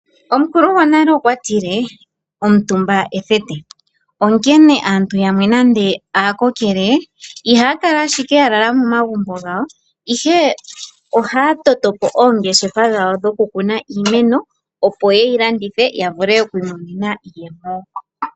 Omukulu gwnle okwa tile omitumba ethete okene aantu yamwe nande aakokele ihaya kala owala ya lala momagumbo gawo. Ihe ohaya vulu oku tota oongefa dhawo dhoku kuna iimeno ya vule oku yi landitha ya mone iiyemo.